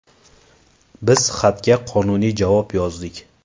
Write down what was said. Biz xatga qonuniy javob yozdik.